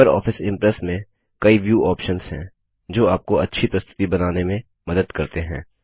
Libre office Impress में कई view options हैं जो आपको अच्छी प्रस्तुति बनाने में मदद करते हैं